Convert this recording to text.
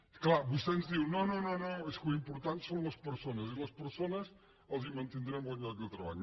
és clar vostè ens diu no no és que l’important són les persones i a les persones els mantindrem el lloc de treball